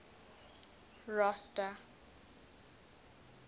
rosta